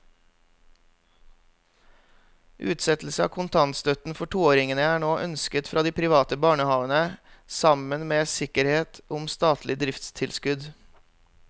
Utsettelse av kontantstøtten for toåringene er nå ønsket fra de private barnehavene sammen med sikkerhet om statlig driftstilskudd.